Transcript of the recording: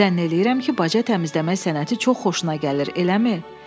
Zənn eləyirəm ki, baca təmizləmə sənəti çox xoşuna gəlir, eləmi?